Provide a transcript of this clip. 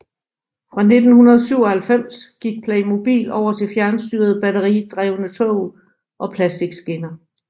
Fra 1997 gik Playmobil over til fjernstyrede batteridrevne tog og plastikskinner